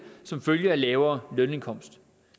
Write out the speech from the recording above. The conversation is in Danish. som følge af lavere lønindkomst